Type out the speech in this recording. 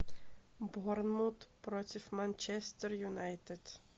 борнмут против манчестер юнайтед